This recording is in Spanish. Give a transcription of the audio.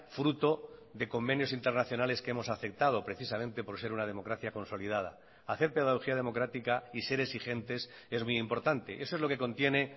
fruto de convenios internacionales que hemos aceptado precisamente por ser una democracia consolidada hacer pedagogía democrática y ser exigentes es muy importante eso es lo que contiene